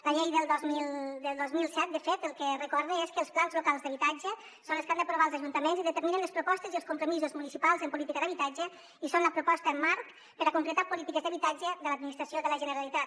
la llei del dos mil set de fet el que recorda és que els plans locals d’habitatge són els que han d’aprovar els ajuntaments i determinen les propostes i els compromisos municipals en política d’habitatge i són la proposta marc per a concretar polítiques d’habitatge de l’administració de la generalitat